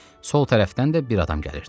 Sol tərəfdən də bir adam gəlirdi.